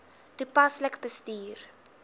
toepaslik bestuur